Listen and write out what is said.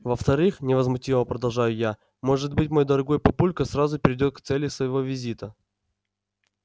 во-вторых невозмутимо продолжаю я может быть мой дорогой папулька сразу перейдёт к цели своего визита